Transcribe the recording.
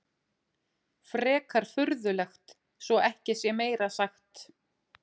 Frekar furðulegt svo ekki sé meira sagt.